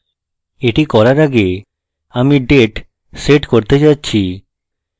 এটি করার আগে আমি আমি date set করতে যাচ্ছি